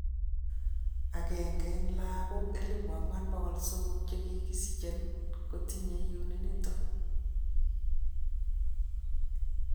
Ang'eng'e en logook 4,300 chegisichen kotinye uniniton.